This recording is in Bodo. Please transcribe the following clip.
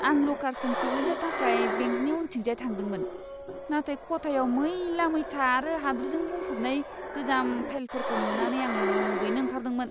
आं ल'कारसिम सौहैनो थाखाय बेंकनि उनथिंजाय थांदोंमोन, नाथाय खथायाव मैला मैथा आरो हाद्रिजों बुंफबनाय गोजाम फाइलफोरखौ नुनानै आं मुगैनो ओंखारदोंमोन!